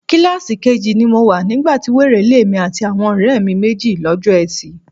Kíláàsì keji ni mo wà nígbà ti wèrè lé èmi àti àwọn ọ̀rẹ́ mi méjì lọ́jọ́ Ẹtì.